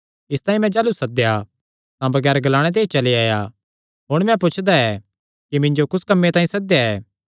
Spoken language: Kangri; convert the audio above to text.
इसतांई मैं जाह़लू सद्देया तां बगैर ग्लाणे ते ई चली आया हुण मैं पुछदा ऐ कि मिन्जो कुस कम्मे तांई सद्देया ऐ